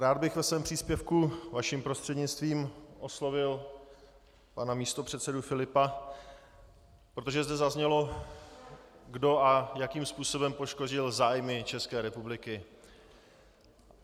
Rád bych ve svém příspěvku vaším prostřednictvím oslovil pana místopředsedu Filipa, protože zde zaznělo, kdo a jakým způsobem poškodil zájmy České republiky.